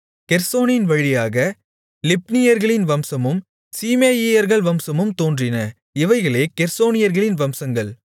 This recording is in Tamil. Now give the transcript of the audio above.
கெர்சோனின் வழியாக லிப்னீயர்களின் வம்சமும் சீமேயியர்கள் வம்சமும் தோன்றின இவைகளே கெர்சோனியர்களின் வம்சங்கள்